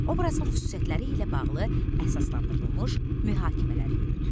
Obrazın xüsusiyyətləri ilə bağlı əsaslandırılmış mühakimələr yürüt.